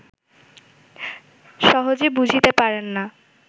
সহজে বুঝিতে পারেন না